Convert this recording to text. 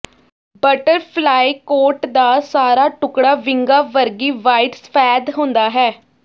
butterfly coat ਦਾ ਸਾਰਾ ਟੁਕੜਾ ਵਿੰਗਾਂ ਵਰਗੀ ਵਾਈਡ ਸਫੈਦ ਹੁੰਦਾ ਹੈ